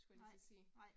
Nej